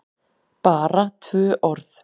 BARA tvö orð?